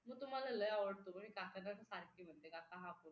मग मला तो लय आवडतो म्हणजे काकांना तर सारखे म्हणते काका हा फोन